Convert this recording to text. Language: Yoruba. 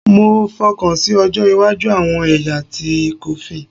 Mo fokansi ojo iwaju awọn ẹya ti coffin